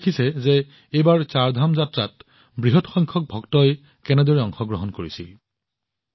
আপোনালোকে দেখিছে যে এইবাৰ চাৰধাম যাত্ৰাত বৃহৎ সংখ্যক ভক্তই কেনেকৈ অংশগ্ৰহণ কৰিছিল